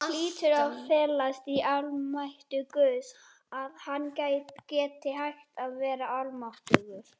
Það hlýtur að felast í almætti Guðs, að hann geti hætt að vera almáttugur.